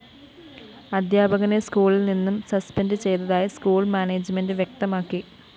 അധ്യാപകനെ സ്‌കൂളില്‍ നിന്നും സസ്പെൻഡ്‌ ചെയ്തതായി സ്കൂൾ മാനേജ്മെന്റ്‌ വ്യക്തമാക്കി